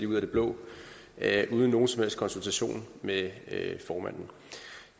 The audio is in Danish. ud af det blå uden nogen som helst konsultation med formanden